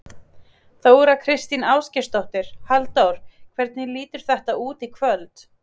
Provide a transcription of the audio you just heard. Þóra Kristín Ásgeirsdóttir: Halldór, hvernig lítur þetta út í kvöld?